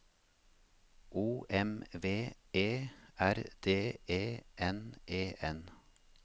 O M V E R D E N E N